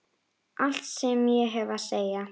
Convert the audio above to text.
Allt sem ég hef að segja?